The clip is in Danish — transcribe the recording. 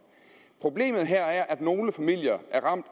problemet her er at nogle familier